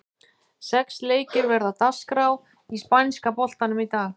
Sex leikir verða á dagskrá í spænska boltanum í dag.